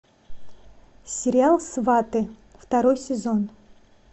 сериал сваты второй сезон